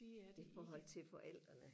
det er det ikke